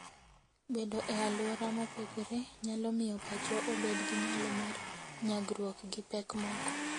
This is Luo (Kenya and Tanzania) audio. Bedo e alwora mopogore nyalo miyo pachwa obed gi nyalo mar nyagruok gi pek moko.